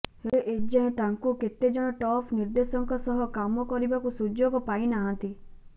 ହେଲେ ଏଯାଏଁ ତାଙ୍କୁ କେତେ ଜଣ ଟପ୍ ନିର୍ଦ୍ଦେଶକଙ୍କ ସହ କାମ କରିବାର ସୁଯୋଗ ପାଇନାହାନ୍ତି